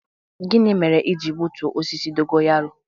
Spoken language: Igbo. gini mere i ji gbutuo osisi dogo yaro?